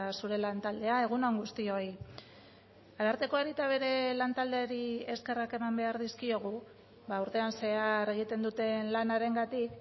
zure lantaldea egun on guztioi arartekoari eta bere lantaldeari eskerrak eman behar dizkiegu urtean zehar egiten duten lanarengatik